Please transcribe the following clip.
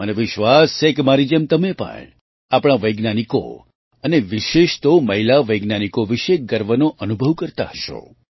મને વિશ્વાસ છે કે મારી જેમ તમે પણ આપણા વૈજ્ઞાનિકો અને વિશેષ તો મહિલા વૈજ્ઞાનિકો વિશે ગર્વનો અનુભવ કરતા હશો